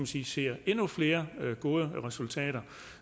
sige ser endnu flere gode resultater